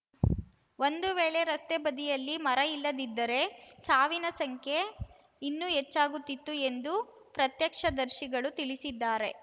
ಒಂದು ವೇಳೆ ರಸ್ತೆ ಬದಿಯಲ್ಲಿ ಮರ ಇಲ್ಲದಿದ್ದರೆ ಸಾವಿನ ಸಂಖ್ಯೆ ಇನ್ನೂ ಹೆಚ್ಚಾಗುತ್ತಿತ್ತು ಎಂದು ಪ್ರತ್ಯಕ್ಷದರ್ಶಿಗಳು ತಿಳಿಸಿದ್ದಾರೆ